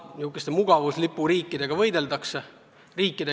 Niisuguste mugavuslipuriikidega võideldakse tegelikult.